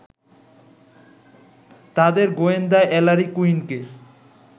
তাঁদের গোয়েন্দা এলারি কুইনকে